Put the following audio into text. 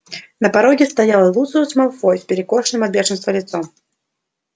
на пороге стоял люциус малфой с перекошенным от бешенства лицом